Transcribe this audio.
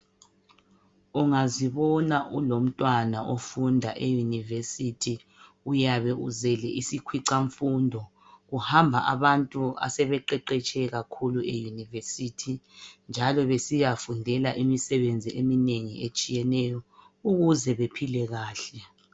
Ungazibona ulomntwana ofunda eyunivesithi uyabe uzele isikhwicamfundo. Kuhamba abantu asebeqeqetshe kakhulu njalo besiyafundela imisebenzi emineng etshiyeneyo i ukuze baphile kahle.